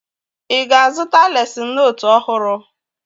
Ị ga-azụta lesịn nootu ọhụrụ?